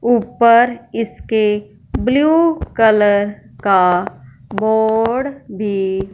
ऊपर इसके blue colour का बोर्ड भी--